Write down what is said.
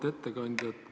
Auväärt ettekandja!